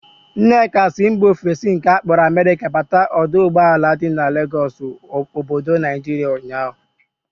Nneka si mba ofesi nke akpọrọ Amerika bata ọdọ ụgbọala dị n'Legọsụ obodo Naijiria ụnyaahụ